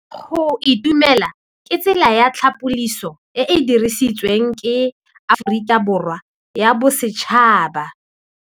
Go itumela ke tsela ya tlhapolisô e e dirisitsweng ke Aforika Borwa ya Bosetšhaba.